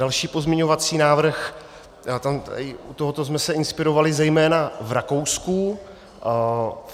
Další pozměňovací návrh, u toho jsme se inspirovali zejména v Rakousku.